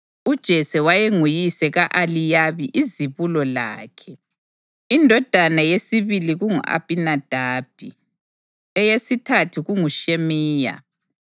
UJese wayenguyise ka-Eliyabi izibulo lakhe; indodana yesibili kungu-Abhinadabi, eyesithathu kunguShimeya,